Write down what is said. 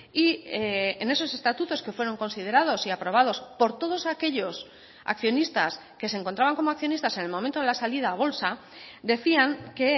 y en esos estatutos que fueron considerados y aprobados por todos aquellos accionistas que se encontraban como accionistas en el momento de la salida a bolsa decían que